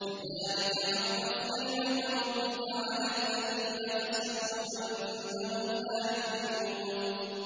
كَذَٰلِكَ حَقَّتْ كَلِمَتُ رَبِّكَ عَلَى الَّذِينَ فَسَقُوا أَنَّهُمْ لَا يُؤْمِنُونَ